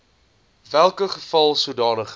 welke geval sodanige